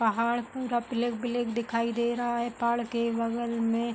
पहाड़ पूरा black black दिखाई दे रहा है। पहाड़ के बगल में --